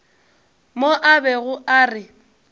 mo a bego a re